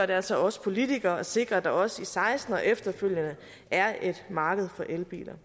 det altså os politikere at sikre at der også i seksten og efterfølgende er et marked for elbiler